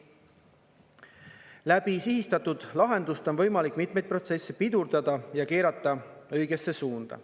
Läbi sihistatud lahenduste on võimalik mitmeid protsesse pidurdada ja keerata õigesse suunda.